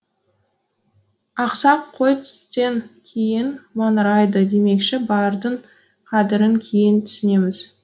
ақсақ қой түстен кейін маңырайды демекші бардың қадірін кейін түсінеміз